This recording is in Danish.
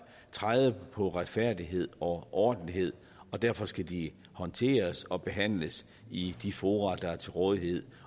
trædes på retfærdighed og ordentlighed og derfor skal de håndteres og behandles i de fora der er til rådighed